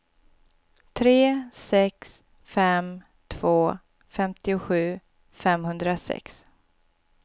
tre sex fem två femtiosju femhundrasex